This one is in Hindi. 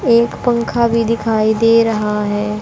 एक पंखा भी दिखाई दे रहा है।